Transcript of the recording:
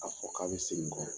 A fɔ k'a bɛ segin n kɔ